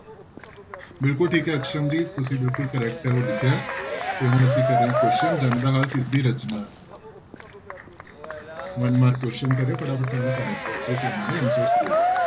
ਬਿਲਕੁਲ ਠੀਕ ਹੈ ਤੁਸੀਂ ਬਿਲਕੁਲ correct ਲਿਖਿਆ ਤੇ ਹੁਣ ਅਸੀਂ ਕਰ ਰਹੇ ਹਾਂ question ਜੰਗ ਦਾ ਹਾਲ ਕਿਸਦੀ ਰਚਨਾ one mark question ਕਰ ਰਹੇ ਹਾਂ ਫਟਾਫਟ ਸਾਨੂੰ comment box ਵਿੱਚ ਇਹਨਾਂ ਦੇ answers ਦੇ ਦਓ